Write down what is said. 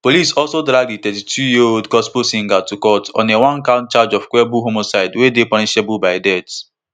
police also drag di thirty-twoyearold gospel singer to court on a onecount charge of culpable homicide wey dey punishable by death